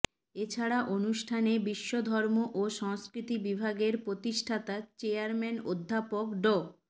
এছাড়া অনুষ্ঠানে বিশ্বধর্ম ও সংস্কৃতি বিভাগের প্রতিষ্ঠাতা চেয়ারম্যান অধ্যাপক ড